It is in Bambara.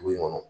Du in kɔnɔ